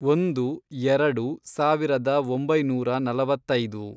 ಒಂದು, ಎರಡು, ಸಾವಿರದ ಒಂಬೈನೂರ ನಲವತ್ತೈದು